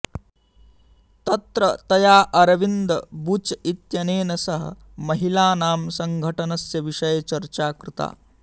तत्र तया अरविंद बुच् इत्यनेन सह महिलानां संगठनस्य विषये चर्चा कृता